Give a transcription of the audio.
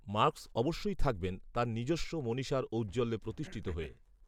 Marx অবশ্যই থাকবেন তাঁর নিজস্ব মনীষার ঔজ্জ্বল্যে প্রতিষ্ঠিত হয়ে